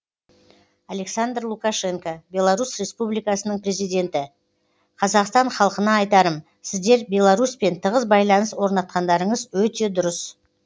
александр лукашенко беларусь республикасының президенті қазақстан халқына айтарым сіздер беларусьпен тығыз байланыс орнатқандарыңыз өте дұрыс